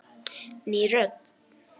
Ný rödd